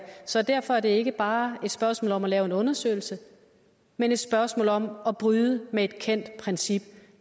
så derfor er det ikke bare et spørgsmål om at lave en undersøgelse men et spørgsmål om at bryde med et kendt princip